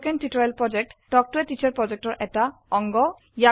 spoken tutorial প্ৰকল্প talk to a teacher প্ৰকল্পৰ এটা অংগ